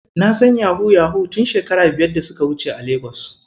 Na san yahu-yahu tun shekaru biyar da suka wuce a Legas.